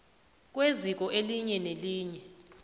kweziko elinye nelinye